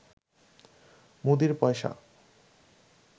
মুদীর পয়সা